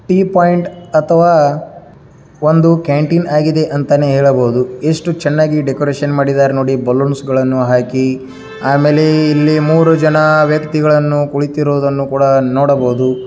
Tea point ಅಥವಾ ಒಂದು canteen ಆಗಿದೆ ಅಂತಲೇ ಹೇಳಬಹುದು ಎಷ್ಟು ಚೆನ್ನಾಗಿ ಡೆಕೋರೇಷನ್ ಮಾಡಿದರೆ ನೋಡಿ ಬಲೂನ್ಸ್ ಗಳನ್ನು ಹಾಕಿ ಆಮೇಲೆ ಇಲ್ಲಿ ಮೂರು ಜನ ವ್ಯಕ್ತಿಗಳು ಕುಳಿತಿರುವುದನ್ನು ಕೂಡ ನೋಡಬಹುದು.